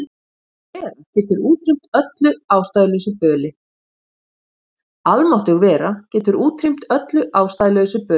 Almáttug vera getur útrýmt öllu ástæðulausu böli.